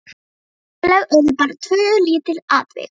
Söguleg urðu bara tvö lítil atvik.